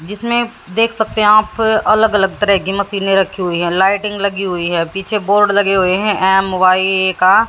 जिसमें देख सकते हैं आप अलग अलग तरह की मशीने रखी हुई हैं लाइटिंग लगी हुई है पीछे बोर्ड लगे हुए हैं एम वाई का--